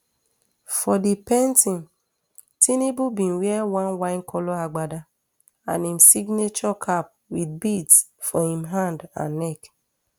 for di painting tinubu bin wear one winecolour agbada and im signature cap wit beads for im hand and neck